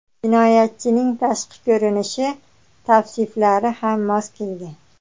Jinoyatchining tashqi ko‘rinishi tavsiflari ham mos kelgan.